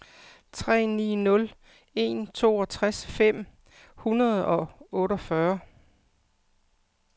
tre ni nul en toogtres fem hundrede og otteogfyrre